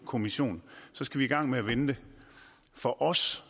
kommission skal i gang med at vente for os